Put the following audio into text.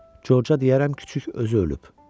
Corca deyərəm küçüyü özü ölüb.